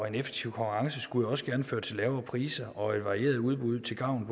en effektiv konkurrence skulle også gerne føre til lavere priser og varieret udbud til gavn